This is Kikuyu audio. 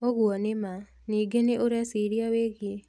ũguo nĩ ma. Ningĩ nĩ ũreciria wĩgie